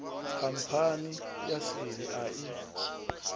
khamphani ya seli a i